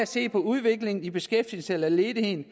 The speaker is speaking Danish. se på udviklingen i beskæftigelsen eller ledigheden